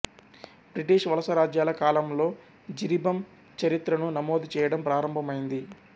British వలసరాజ్యాల కాలంలో జిరిబం చరిత్రను నమోదు చేయడం ప్రారంభమైంది